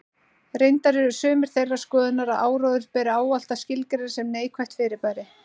Reyndar eru sumir þeirrar skoðunar að áróður beri ávallt að skilgreina sem neikvætt fyrirbæri.